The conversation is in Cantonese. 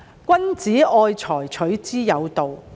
君子愛財，取之有道。